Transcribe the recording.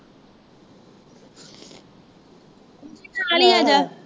ਤੂੰ ਵੀ ਨਾਲ ਹੀ ਆ ਜਾ